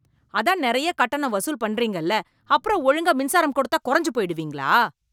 அதான் நெறைய கட்டணம் வசூல் பண்றீங்கல அப்புறம் ஒழுங்கா மின்சாரம் கொடுத்தா கொறஞ்சு போயிடுவீங்களா?